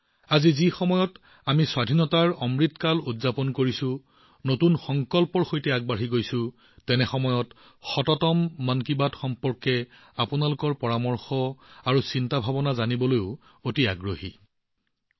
আজি যেতিয়া আমি আজাদী কা অমৃত কাল উদযাপন কৰি আছো নতুন সংকল্পৰ সৈতে আগবাঢ়ি গৈ মই মন কী বাতৰ শততম ১০০ তম খণ্ড সম্পৰ্কে আপোনালোকৰ পৰামৰ্শ আৰু চিন্তাবোৰ জানিবলৈও অতি আগ্ৰহী হৈ পৰিছো